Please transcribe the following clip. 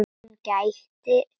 Hann gætir mín.